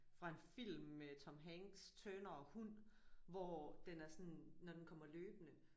Fra en film med Tom Hanks Turner & hund hvor den er sådan når den kommer løbende